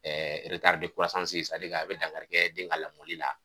a bɛ dankarikɛ den ka lamɔli la.